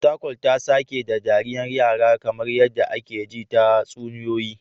Fatakwal ta sake ta da dariyar yara kamar yadda aka ji tatsuniyoyi